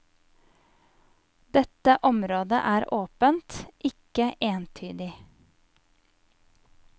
Dette området er åpent, ikke entydig.